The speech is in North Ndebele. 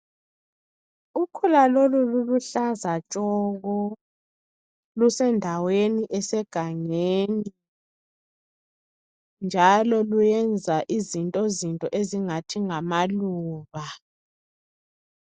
Ukhula lolu luluhlaza tshoko lusendaweni esegangeni njalo luyenza izinto zinto ezingathi ngamaluba.